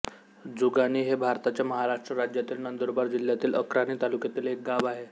जुगाणी हे भारताच्या महाराष्ट्र राज्यातील नंदुरबार जिल्ह्यातील अक्राणी तालुक्यातील एक गाव आहे